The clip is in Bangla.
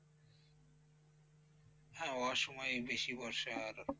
হ্যাঁ অসময়েই বেশি বর্ষার,